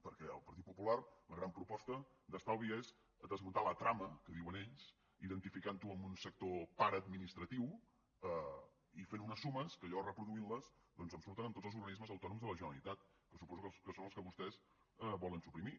perquè el partit popular la gran proposta d’estalvi és desmuntar la trama que diuen ells identificant ho amb un sector paraadministratiu i fent unes sumes que jo reproduint les doncs em surten amb tots els organismes autònoms de la generalitat que suposo que són els que vostès volen suprimir